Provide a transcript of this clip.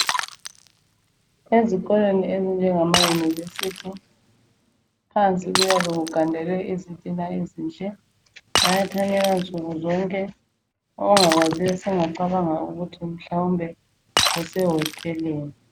Ezikolweni ezinjengamayunivesithi phansi kuyabe kugandelwe izitina ezinhle, bayathanyela nsukuzonke ongakwaziyo sengacabanga ukuthi mhlawumbe kusehoteleni.